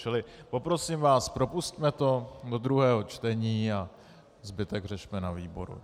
Čili poprosím vás, propusťme to do druhého čtení a zbytek řešme na výboru.